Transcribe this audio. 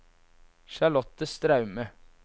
Charlotte Straume